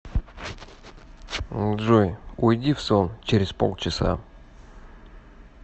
джой уйди в сон через полчаса